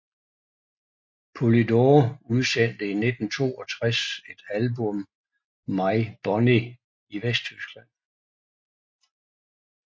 Polydor udsendte i 1962 et album My Bonnie i Vesttyskland